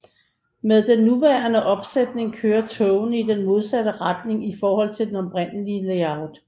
Med den nuværende opsætning kører togene i den modsatte retning i forhold til det oprindelige layout